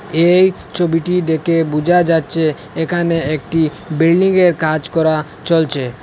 এই ছবিটি দেকে বুঝা যাচ্চে এখানে একটি বিল্ডিঙের -এর কাজ করা চলচে।